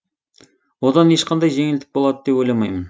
одан ешқандай жеңілдік болады деп ойламаймын